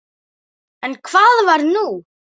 En hvað var nú?